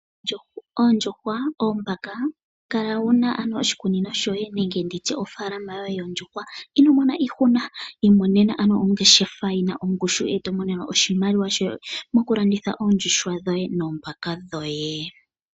Oondjuhwa, oombaka kala wu na ano oshikunino shoye nenge ndi tye ofaalama yoondjuhwa. Ino mona iihuna imonena ano ongeshefa yi na ongushu e to imonene oshimaliwa shoye mokulanditha oondjuhwa dhoye noombaka dhoye.